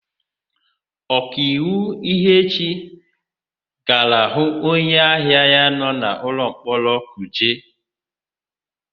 Ọkaiwu Ihechi gara hụ onyeahịa ya nọ n'ụlọmkpọrọ Kuje.